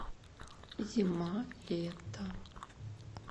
зима лето